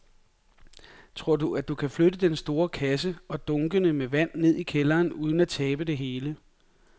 Tror du, at han kan flytte den store kasse og dunkene med vand ned i kælderen uden at tabe det hele?